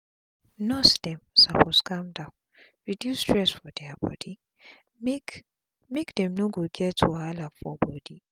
nurse dem suppose calm down reduce stress for dia bodi make make dem no go get wahala for bodi